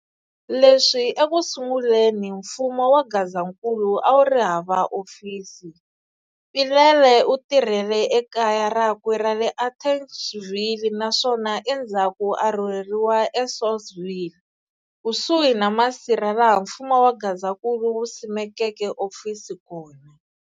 Leswi ekusunguleni, mfumo wa Gazankulu awuri hava ofisi, Mpilele u tirhele ekaya rakwe ra le Atteridgeville, naswona endzaku a rhurheriwa e Saulsville, kusuhi na masirha laha mfumo wa Gazankulu wusimekeke ofisi kona.